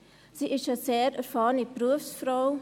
Sie ist eine sehr erfahrene Berufsfrau.